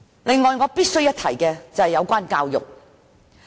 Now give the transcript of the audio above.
此外，我必須一提的是教育問題。